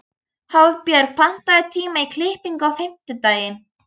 Hafbjörg, pantaðu tíma í klippingu á fimmtudaginn.